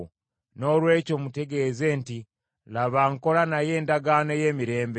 Noolwekyo mutegeeze nti, ‘Laba nkola naye endagaano ey’emirembe.